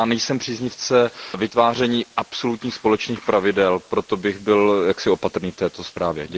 Já nejsem příznivcem vytváření absolutních společných pravidel, proto bych byl jaksi opatrný k této zprávě.